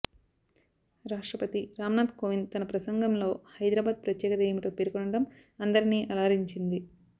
రాష్ట్రపతి రామ్నాథ్ కోవింద్ తన ప్రసంగంలో హైదరాబాద్ ప్రత్యేకత ఏమిటో పేర్కొనడం అందరినీ అలరించింది